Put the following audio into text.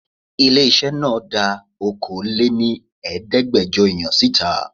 Ilé-iṣẹ́ náà dá Okòó lé ní Ẹ̀ẹ́dẹ́gbẹjọ èèyàn síta.